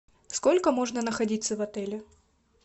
сколько можно находиться в отеле